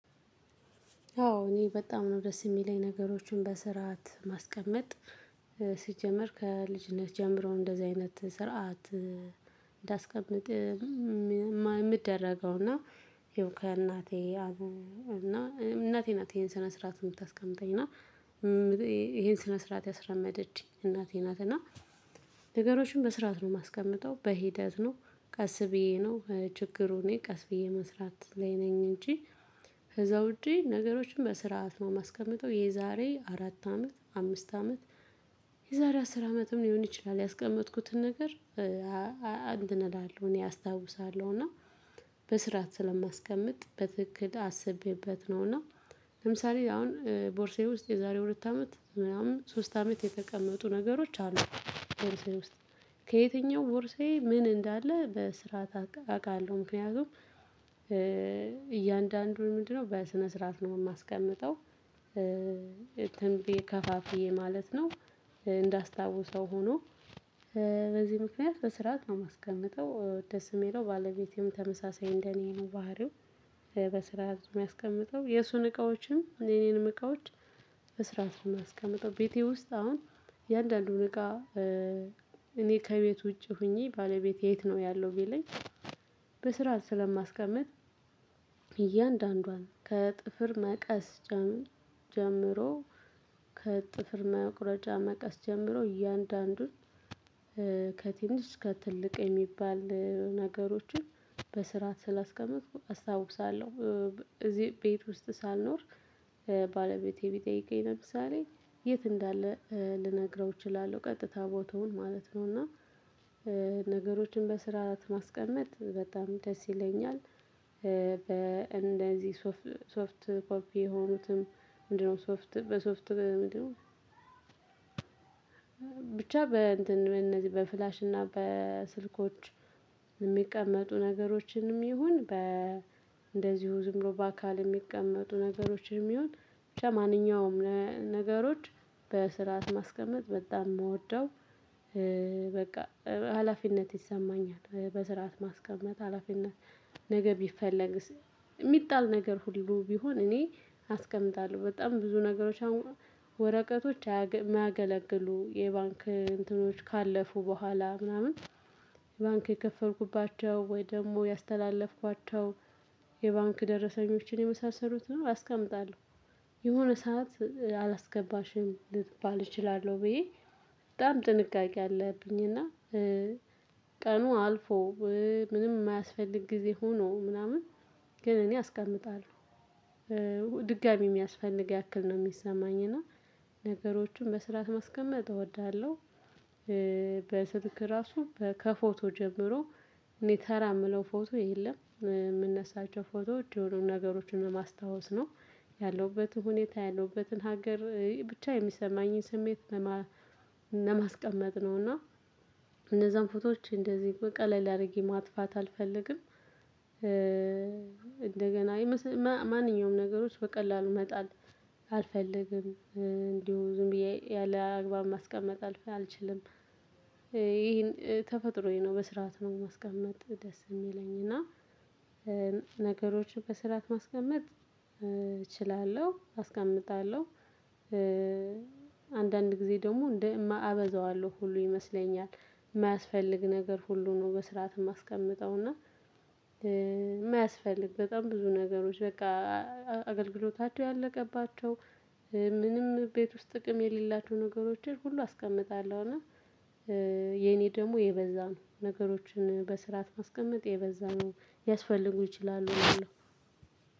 አዎ እኔ በጣም ነው ደስ የሚለኝ ነገሮችን በስርዓት ማስቀመጥ። ሲጀምር ከልጅነት ጀምሮ እንደዚህ አይነት ስርዓት እንዳስቀምጥ የምደረገው እና ይሄው ከእናቴ እና እናቴ ናት ይሄን ስነ ስርዓት የምታስቀምጠኝ እና ይሄን ስነ ስርዓት ያስለመደችኝ እናቴ ናት። እና ነገሮችን በስርዓት ነው የማስቀምጠው። በሂደት ነው። ቀስ ብዬ ነው። ችግሩ እኔ ቀስ ብዬ መስራት ላይ ነኝ እንጂ ከዛ ውጪ ነገሮችን በስራአት ነው ማስቀመጠው። የዛሬ አራት አመት አምስት አመት የዛሬ አስር አመትም ሊሆን ይችላል ያስቀመጥኩትን ነገር አንትን እላለሁ እኔ አስታውሳለሁ። እና በስርዓት ስለማስቀምጥ በትክክል አስቤበት ነው። እና ለምሳሌ አሁን ቦርሳየ ውስጥ የዛሬ ሁለት አመት ምናምን ሶስት አመት የተቀመጡ ነገሮች አሉ። በርሴ ውስጥ ከየትኛው ቦርሴ ምን እንዳለ በስርዓት አውቃለሁ። ምክንያቱም እያንዳንዱን ምንድነው በስነ ስርዓት ነው የማስቀምጠው እንትን ብየ ከፋፍዬ ማለት ነው። እንዳስታውሰው ሆኖ በዚህ ምክንያት በስርዓት ነው የማስቀምጠው። ደስ የሚለው ባለቤቴም ተመሳሳይ እንደኔ ነው ባህሪው። በስርዓት ነው የሚያስቀምጠው። የእሱን እቃዎችም የኔንም እቃዎች በስርዓት ነው የማስቀምጠው። ቤቴ ውስጥ አሁን እያንዳንዱን እቃ እኔ ከቤት ውጪ ሆኜ ባለቤቴ የት ነው ያለው ቢለኝ በስርዓት ስለማስቀምጥ እያንዳንዷን ከጥፍር መቀስ ጀምሮ ከጥፍር መቁረጫ መቀስ ጀምሮ እያንዳንዱን ከትልቅ የሚባል ነገሮችን በስርዓት ስላስቀመጥኩ አስታውሳለሁ። እዚህ ቤት ውስጥ ሳልኖር ባለቤቴ ቢጠይቀኝ ለምሳሌ የት እንዳለ ልነግረው እችላለሁ ቀጥታ ቦታውን ማለት ነው። እና ነገሮችን በስርዓት ማስቀመጥ በጣም ደስ ይለኛል። በእንደዚህ ሶፍት ኮፒ የሆኑትም ምንድነው ሶፍት በሶፍት ምንድነው ብቻ በእንትን በእነዚህ በፍላሽ እና በስልኮች የሚቀመጡ ነገሮችንም ይሁን በ እንደዚሁ ዝም ብሎ በአካል የሚቀመጡ ነገሮችንም ይሁን ብቻ ማንኛውም ነገሮች በስርዓት ማስቀመጥ በጣም የምወደው በቃ ሀላፊነት ይሰማኛል። በስርዓት ማስቀመጥ ሀላፊነት ነገ ቢፈለግ የሚጣል ነገር ሁሉ ቢሆን እኔ አስቀምጣለሁ። በጣም ብዙ ነገሮች ወረቀቶች የማያገለግሉ የባንክ እንትኖች ካለፉ በኋላ ምናምን ባንክ የከፈልኩባቸው ወይ ደግሞ ያስተላለፍኳቸው የባንክ ደረሰኞችን የመሳሰሉትን አስቀምጣለሁ። የሆነ ሰዓት አላስገባሽም ልባል እችላለሁ ብዬ በጣም ጥንቃቄ አለብኝ። እና ቀኑ አልፎ ምንም የማያስፈልግ ጊዜ ሆኖ ምናምን ግን እኔ አስቀምጣለሁ። ድጋሚ የሚያስፈልግ ያክል ነው የሚሰማኝ። እና ነገሮችን በስርዓት ማስቀመጥ እወዳለሁ። ራሱ ከፎቶ ጀምሮ እኔ ተራ የምለው ፎቶ የለም። የምነሳቸው ፎቶዎች የሆኑ ነገሮችን ለማስታወስ ነው። ያለውበትን ሁኔታ ያለውበትን ሀገር ብቻ የሚሰማኝን ስሜት ለማስቀመጥ ነው። እና እነዛን ፎቶዎች እንደዚህ ቀለል አድርጌ ማጥፋት አልፈልግም። እንደገና ማንኛውም ነገሮች በቀላሉ መጣል አልፈልግም። እንዲሁ ዝም ብዬ ያለ አግባብ ማስቀመጥ አልችልም። ይሄን ተፈጥሮዬ ነው። በስርዓት ነው ማስቀመጥ ደስ የሚለኝ። እና ነገሮች በስራት ማስቀመጥ እችላለሁ። አስቀምጣለሁ። አንዳንድ ጊዜ ደግሞ እንደ እማ አበዛዋለሁ ሁሉ ይመስለኛል። የማያስፈልግ ነገር ሁሉ ነው በስርዓት የማስቀምጠው። እና የማያስፈልግ በጣም ብዙ ነገሮች በቃ አገልግሎታቸው ያለቀባቸው ምንም ቤት ውስጥ ጥቅም የሌላቸው ነገሮችን ሁሉ አስቀምጣለሁ። እና ደግሞ የበዛ ነገሮችን በስርዓት ማስቀመጥ የበዛ ነው ያስፈልጉ ይችላሉ ብየ